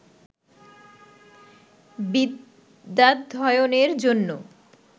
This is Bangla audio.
বিদ্যাধ্যয়নের জন্য